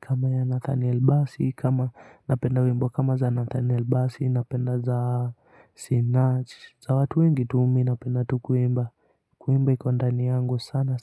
kama ya Nathaniel basi kama napenda wimbo kama za nathaniel basi napenda za sinach za watu wengi tu mi napenda tu kuimba kuimba iko ndani yangu.